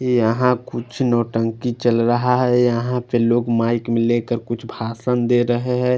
ये यहा कुछ नोटंकी चल रहा है यहा पे लोग माइक लेकर कुछ भासन दे रहे है।